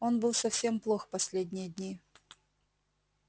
он был совсем плох последние дни